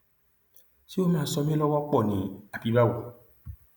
ṣé ó máa ṣọ mi lọwọ pọ ni àbí báwo